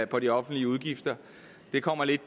på de offentlige udgifter det kommer lidt